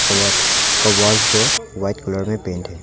जो white colour में paint है।